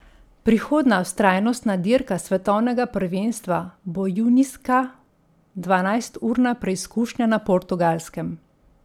Prihodnja vztrajnostna dirka svetovnega prvenstva bo junijska dvanajsturna preizkušnja na Portugalskem.